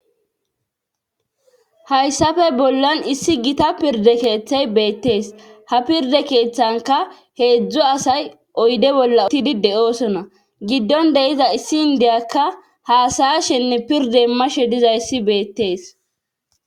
hayssafe bollan issi gita pirde keeththey beettees ha pirde keeththanka heedzdzu asay oyde bolla otidi de7oosona giddon deiza issi indiyakka haasaya shenne pirde mashe dizayssi beettees